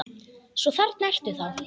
Svo þarna ertu þá!